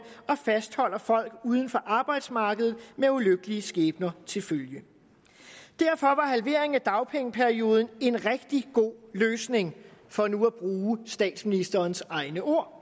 og fastholder folk uden for arbejdsmarkedet med ulykkelige skæbner til følge derfor var halveringen af dagpengeperioden en rigtig god løsning for nu at bruge statsministerens egne ord og